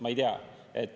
Ma ei tea.